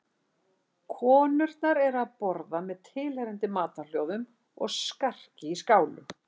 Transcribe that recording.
Konurnar eru að borða með tilheyrandi matarhljóðum og skarki í skálum.